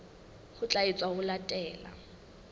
ho tla etswa ho latela